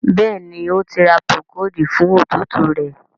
Béèni O tí ra Procold fún òtútù rẹ.